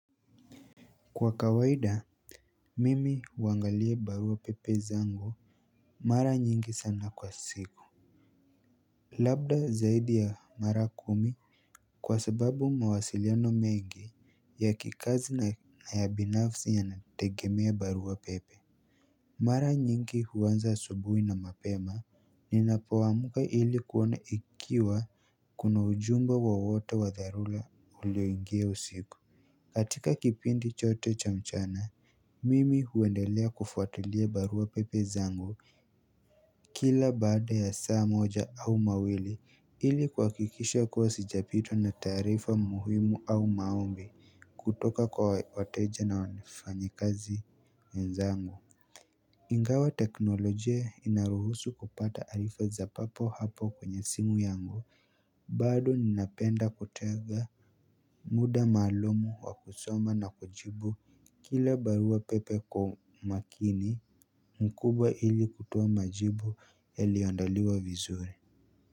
Kwa kawaida mimi huangalia barua pepe zangu mara nyingi sana kwa siku labda zaidi ya mara kumi kwa sababu mawasiliano mengi ya kikazi na ya binafsi yanategemea barua pepe mara nyingi huanza asubuhi na mapema ninapoamka ili kuona ikiwa kuna ujumbe wowote wa dharura ulioingia usiku katika kipindi chote cha mchana. Mimi huendelea kufuatilia barua pepe zangu. Kila baada ya saa moja au mawili ili kuhakikisha kuwa sijapitwa na taarifa muhimu au maombi kutoka kwa wateja na wanafanyakazi wenzangu. Ingawa teknolojia inaruhusu kupata arifa za papo hapo kwenye simu yangu bado ninapenda kutega muda maalumu wa kusoma na kujibu kila barua pepe kwa makini mkubwa ili kutoa majibu yaliyoandaliwa vizuri.